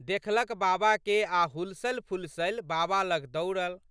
देखलक बाबाके आ' हुलसलिफुलसलि बाबा लग दौड़ल।